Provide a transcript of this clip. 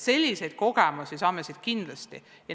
Selliseid kogemusi saame siit kindlasti.